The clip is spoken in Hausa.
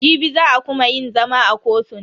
Jibi za a kuma yin zama a kotun.